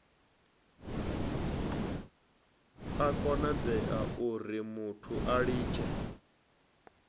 a konadzea urimuthu a litshe